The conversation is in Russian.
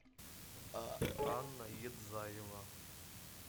анна едзаева